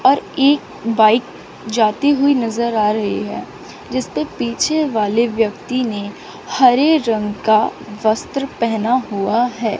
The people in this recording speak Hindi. और एक बाइक जाती हुई नजर आ रही है जिसपे पीछे वाले व्यक्ति ने हरे रंग का वस्त्र पहना हुआ है।